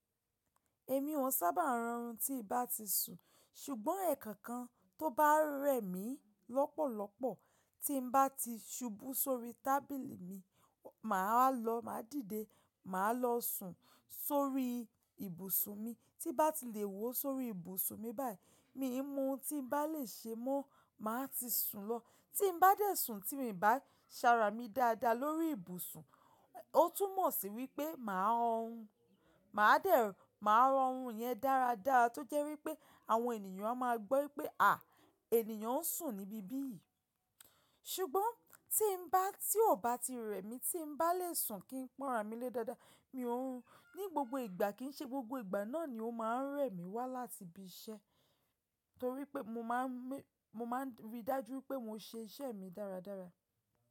Èmi ò sábà ń rọrùn tí bá ti sùn, ṣùgbọ́n ẹ̀kànkan tó bá rẹ̀ mí lọ́pọ̀lọpọ̀ tí ń bá ti ṣubú sórí tábìlì mi, màá lọ, máa dìde, màá lọ sùn sórí ibùsùn mi. Tí bá ti lè wòó sórí ibùsùn mi báyìí, mi mọ tí ń bá lè ṣe mọ́, màá ti sùn lọ. Tí n bá dẹ̀ sùn tí mi bá ń ṣàrà mí dáadáa lórí ibùsùn, ó tún mọ̀ sí wípé màá rọrùn. Màá dẹ̀, màá rọrùn yẹn dáradára tó jẹ́ wípé àwọn ènìyàn a máa gbọ́ wípé, à, ènìyàn ń sùn níbi ibí. Ṣùgbọ́n tí ń bá, tí ò bá ti rẹ̀ mí tí ń bá lè sùn kí n pọ̀nrà mí lé dáadáa, mi ò ń rùn ní gbogbo ìgbà kí n ṣe gbogbo ìgbà náà ni ó máa ń rẹ̀ mí wá láti ibi iṣẹ́. Nítorí pé mo máa ń rí i dájú pé mo ṣe iṣẹ́ mi dáradára.